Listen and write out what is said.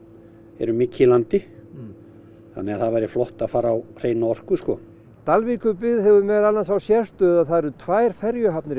erum mikið í landi þannig að það væri flott að fara á hreina orku Dalvíkurbyggð hefur meðal annars þá sérstöðu að það eru tvær ferjuhafnir í